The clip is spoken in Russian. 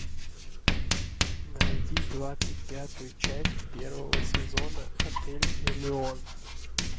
найди двадцать пятую часть первого сезона отель элеон